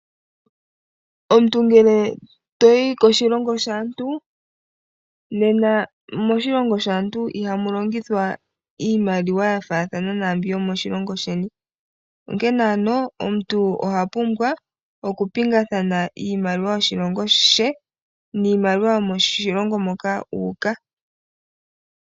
Omuntu ngele toyi koshilongo shaantu, nena moshilongo shaantu ihamu longithwa iimaliwa yafathana naambyoka yomoshilongo sheni, onkene ano omuntu ohapumbwa okupingathana iimaliwa yoshilongo she niimaliwa yomoshilongo moka uuka.